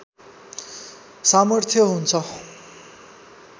सामर्थ्य हुन्छ